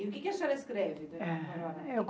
E o que a senhora escreve?